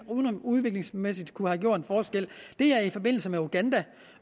udviklingsmæssigt kunne have gjort en forskel er i forbindelse med uganda